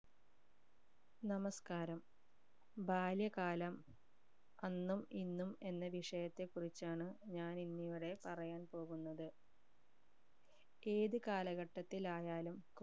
നമസ്ക്കാരം ബാല്യകാലം അന്നും ഇന്നും എന്ന വിഷയത്തെ കുറിച്ചാണ് ഞാൻ ഇന്ന് ഇവിടെ പറയാൻ പോകുന്നത് ഏത് കാലഘട്ടത്തിലായാലും